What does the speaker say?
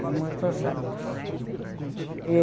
Há muitos anos.